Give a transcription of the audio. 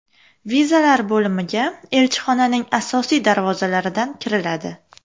Vizalar bo‘limiga elchixonaning asosiy darvozalaridan kiriladi.